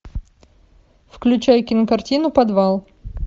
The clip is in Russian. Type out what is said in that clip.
включай кинокартину подвал